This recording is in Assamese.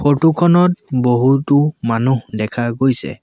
ফটো খনত বহুতো মানুহ দেখা গৈছে।